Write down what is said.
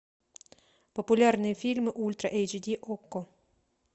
популярные фильмы ультра эйч ди окко